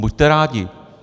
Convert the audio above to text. Buďte rádi.